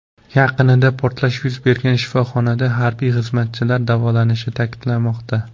Yaqinida portlash yuz bergan shifoxonada harbiy xizmatchilar davolanishi ta’kidlanmoqda.